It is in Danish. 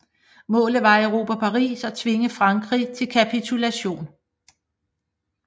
Målet var at erobre Paris og tvinge Frankrig til kapitulation